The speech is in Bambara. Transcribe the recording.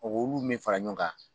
O k'olu min fara ɲɔn kan